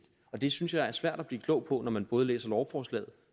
det synes jeg det er svært at blive klog på når man både læser lovforslaget